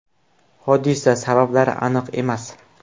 Hodisa sabablari aniq emas.